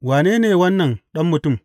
Wane ne wannan Ɗan Mutum’?